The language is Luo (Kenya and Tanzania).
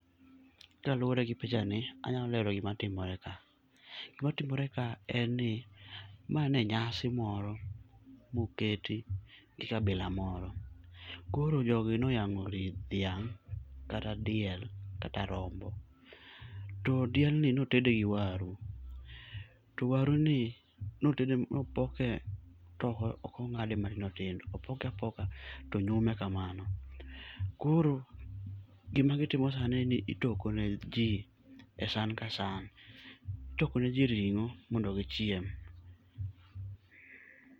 Kaluwore gi pichani, anyalo lero gima timore kae, gimatimore ka en ni ma ne nyasi moro moketi nikabila moro. Koro jogi noyang'o ring' dhiang' kata diel kata rombo. To diendni notede gi waru, to waruni nopoke to ok ong'ade matindo tindo, opoke apoka to onyume kamano. Koro gima gitimo sani ni itoko ne ji esan kasan. Itoko neji ring'o mondo gichiem,